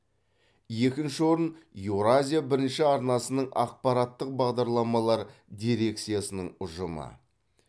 екінші орын еуразия бірінші арнасының ақпараттық бағдарламалар дирекциясының ұжымы